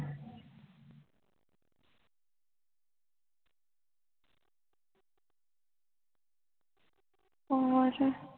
ਹੋਰ